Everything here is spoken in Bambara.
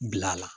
Bila la